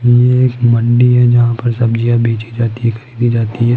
ये एक मंडी है जहां पर सब्जियां बेची जाती है खरीदी जाती है।